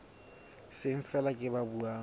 seng feela ke ba buang